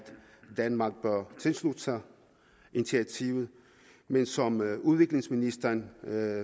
danmark bør tilslutte sig initiativet men som udviklingsministeren